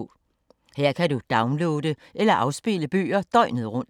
Her kan du downloade eller afspille bøger døgnet rundt.